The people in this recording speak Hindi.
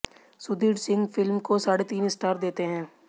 सुधीर सिंह फिल्म को साढ़े तीन स्टार देते हैं